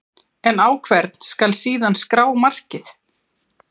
En á hvern skal síðan skrá markið?